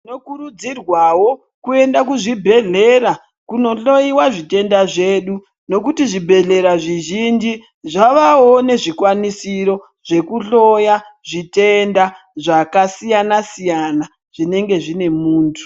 Tinokurudzirwawo kuenda kuzvibhehleya kunohloyiwa zvitenda zvedu nekuti zvibhehleya zvizhinji zvavavo nezvikwanisiro zvokuhloya zvitenda zvakasiyanasiyana zvinenge zvine muntu.